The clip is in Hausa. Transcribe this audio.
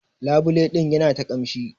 Labule din yana ta kamshi.